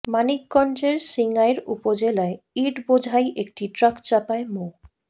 মানিকগঞ্জের সিঙ্গাইর উপজেলায় ইট বোঝাই একটি ট্রাক চাপায় মো